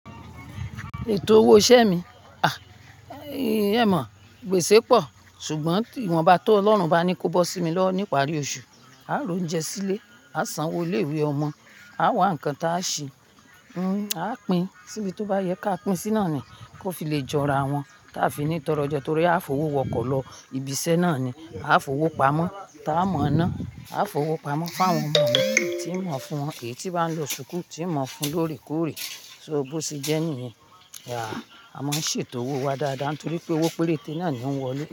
Ètò owó isẹ mi? Àí, ì é mó, gbèsè pọ̀, ṣùgbọ́n ìwọ̀n ba tó, Ọlọ́run bá ní kó bó sí mi lọ ní ìparí oṣù, a ro jẹ sílé, a san owó ilé ìwé ọmọ, a wà nǹkan tí a ṣì, mm, a pin, síbi tó bá yẹ ká pin sí náà ni, kó fi lè jọra wọn, tí a fi ní tọrọ je torí a f'owó wọkọ̀ lọ ibi iṣẹ́ náà ni, a f'owó pamọ́ tí a mọ iná, a f'owó pamọ́ fún àwọn ọmọ tí mọ̀ fún, èyí tí bá ń lọ ṣùkú, tí mọ̀ fún lóre kore. So bó ti jẹ́ nìyẹn, àá, a máa ṣètò owó wa dáadáa torí pé owó péréte náà ni ó wọlé.